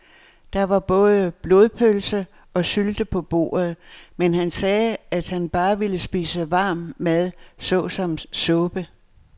Der var både blodpølse og sylte på bordet, men han sagde, at han bare ville spise varm mad såsom suppe.